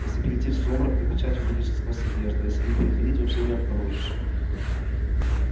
если перейти в сумрак то печать увидишь и сквозь одежду а если не переходить вообще не обнаружишь